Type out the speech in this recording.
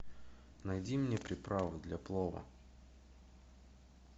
найди мне приправы для плова